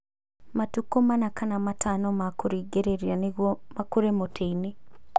Matukũ mana kana matano ma kũrigĩrĩria nĩguo makũre mũtĩ-inĩ